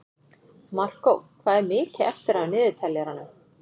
Markó, hvað er mikið eftir af niðurteljaranum?